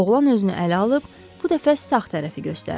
Oğlan özünü ələ alıb bu dəfə sağ tərəfi göstərdi.